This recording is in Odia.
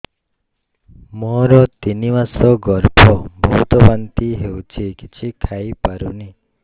ମୋର ତିନି ମାସ ଗର୍ଭ ବହୁତ ବାନ୍ତି ହେଉଛି କିଛି ଖାଇ ପାରୁନି